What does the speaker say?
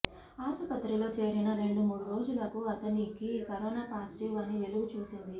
ఆసుపత్రిలో చేరిన రెండుమూడు రోజులకు అతనికి కరోనా పాజిటివ్ అని వెలుగు చూసింది